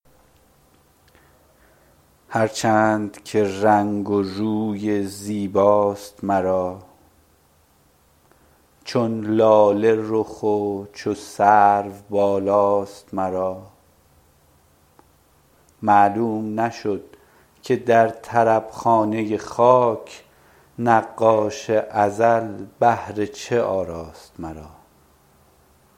هر چند که رنگ و روی زیباست مرا چون لاله رخ و چو سرو بالاست مرا معلوم نشد که در طرب خانه خاک نقاش ازل بهر چه آراست مرا